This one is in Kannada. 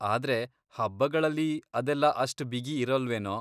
ಆದ್ರೆ ಹಬ್ಬಗಳಲ್ಲಿ ಅದೆಲ್ಲ ಅಷ್ಟ್ ಬಿಗಿ ಇರಲ್ವೇನೋ.